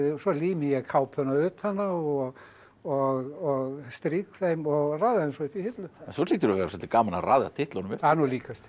svo lími ég kápuna utan á og og strýk þeim og raða þeim svo upp í hillu svo hlýtur að vera svolítið gaman að raða titlunum upp það er nú líkast til